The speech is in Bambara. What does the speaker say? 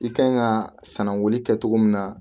I kan ka sanangon kɛ cogo min na